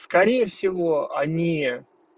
скорее всего они